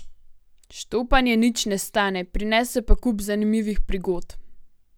Štopanje nič ne stane, prinese pa kup zanimivih prigod.